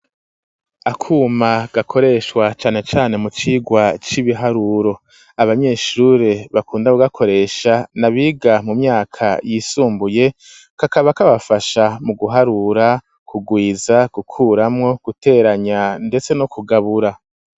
Akuma gakoreshwa cane cane mu cirwa c'ibiharuro abanyeshure bakunda ku gakoresha nabiga mu myaka yisumbuye kakaba kabafasha mu guharura ku gwiza gukuramo guteranya ndetse no ku gabura.